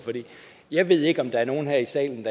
jeg ved ikke om der er nogen her i salen